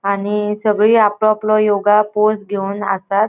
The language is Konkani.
आणि सगळी आप आपलों योगा पोज घेवन आसात.